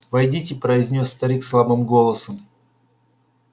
войдите произнёс старик слабым голосом